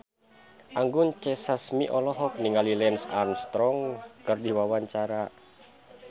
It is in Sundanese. Anggun C. Sasmi olohok ningali Lance Armstrong keur diwawancara